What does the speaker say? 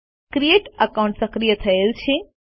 create account સક્રિય થયેલ છે